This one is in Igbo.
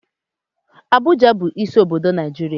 Abụja bu isi obodo Naijiria